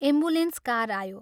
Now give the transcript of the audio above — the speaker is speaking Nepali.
एम्बुलेंस कार आयो।